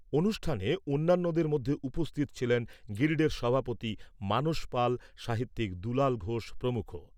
অনুষ্ঠানে অন্যান্যদের মধ্যে উপস্থিত ছিলেন, গিল্ডের সভাপতি মানস পাল সাহিত্যিক দুলাল ঘোষ প্রমুখ।